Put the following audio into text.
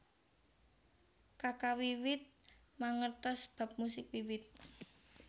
Kaka wiwit mangertos bab musik wiwit